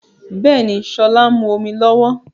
Bẹ́ẹ̀ni, sọlá ń mú omi lọ́wọ́